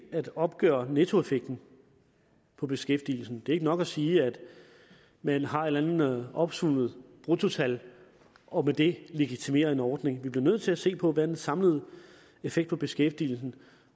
at opgøre nettoeffekten på beskæftigelsen det er ikke nok at sige at man har et eller andet opsummeret bruttotal og med det legitimerer en ordning vi bliver nødt til at se på den samlede effekt på beskæftigelsen